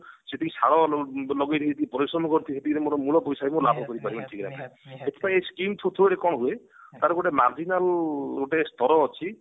ସେତିକି ସାର ଲଗେଇ ଦେଇଛି ପରିଶ୍ରମ କରିଛି ଯେତିକି ମୋର ମୂଳ ପଇସା ବି ଲାଭ ତ ଏଇ skim through ରେ କଣ ହୁଏ ତାର ଗୋଟେ marginal ଗୋଟେ ସ୍ତର ଅଛି